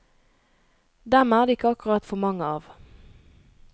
Dem er det ikke akkurat for mange av.